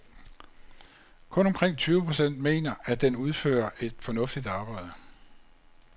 Kun omkring tyve procent mener, at den udfører et fornuftigt arbejde.